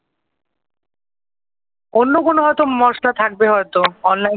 অন্য কোন হয়তো মশলা থাকবে হয়তো অনলাইনে